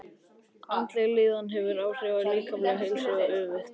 Andleg líðan hefur áhrif á líkamlega heilsu og öfugt.